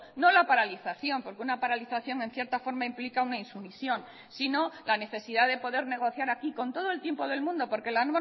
no la paralización porque una paralización en cierta forma implica una insumisión sino la necesidad de poder negociar aquí con todo el tiempo del mundo porque la